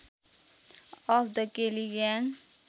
of the Kelly gang